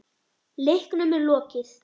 Leiknum er lokið.